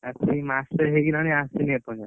ଆସିକି ମାସେ ହେଇଗଲାଣି ଆସିନି ଏପର୍ଯ୍ୟନ୍ତ।